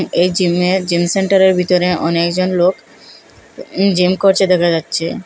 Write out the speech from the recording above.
এই জিমে জিম সেন্টারের বিতরে অনেকজন লোক জিম করচে দেখা যাচ্চে।